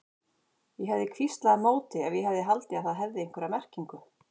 Ég hefði hvíslað á móti ef ég hefði haldið að það hefði haft einhverja merkingu.